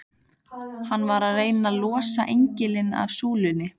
Hann var að reyna að losa engilinn af súlunni!